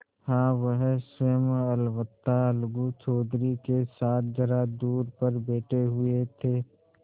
हाँ वह स्वयं अलबत्ता अलगू चौधरी के साथ जरा दूर पर बैठे हुए थे